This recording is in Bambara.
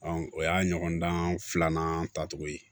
o y'a ɲɔgɔndan filanan tacogo ye